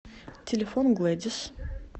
телефон глэдис